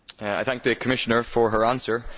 I thank the Commissioner for her answer.